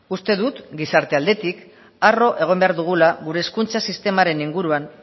uste dut gizarte aldetik arro egon behar dugula gure hezkuntza sistemaren inguruan